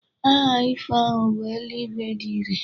Aha ifo ahu bu eluigwe dị irè.